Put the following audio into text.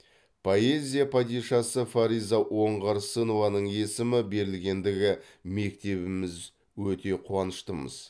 поэзия падишасы фариза оңғарсынованың есімі берілгендігі мектебіміз өте қуаныштымыз